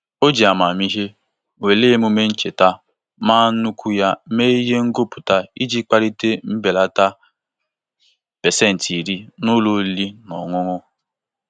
O ji amamihe were emume ncheta mma nnukwu ya mee ihe ngọpụ iji kparịta mbelata 10% na ụlọ oriri na ọṅụṅụ.